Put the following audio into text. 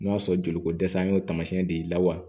N'o y'a sɔrɔ joli ko dɛsɛ y'o taamasiyɛn de ye wa